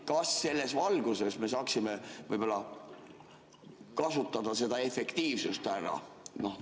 Kas selles valguses me saaksime võib-olla kasutada seda efektiivsust ära?